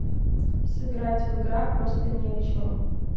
сыграть в игра просто ни о чем